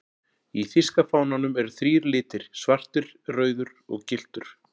Í þýska fánanum eru þrír litir, svartur, rauður og gylltur.